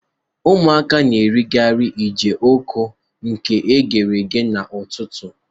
Ụmuaka na-erikarị jioko e ghere eghe n'ụtụtụ.